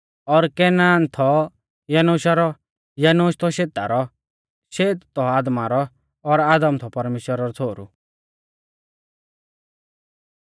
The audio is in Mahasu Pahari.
और केनान थौ यनोशा रौ यनोश थौ शेता रौ शेत थौ आदमा रौ और आदम थौ परमेश्‍वरा रौ छ़ोहरु